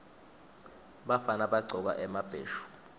bafana bagcoka emabheshu